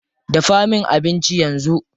Dafa min abinci yanzu.